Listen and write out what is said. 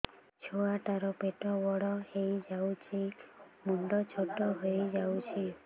ଛୁଆ ଟା ର ପେଟ ବଡ ହେଇଯାଉଛି ମୁଣ୍ଡ ଛୋଟ ହେଇଯାଉଛି